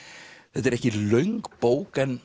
þetta er ekki löng bók en